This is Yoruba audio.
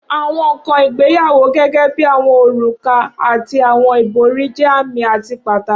Awọn nkan igbeyawo gẹgẹbi awọn oruka ati awọn ibori jẹ aami ati pataki.